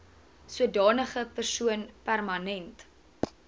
sodanige persoon permanent